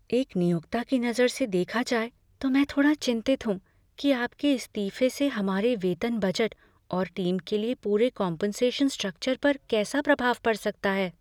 एक नियोक्ता की नज़र से देखा जाए तो मैं थोड़ा चिंतित हूँ कि आपके इस्तीफे से हमारे वेतन बजट और टीम के लिए पूरे कॉम्पनसेशन स्ट्रक्चर पर कैसा प्रभाव पड़ सकता है।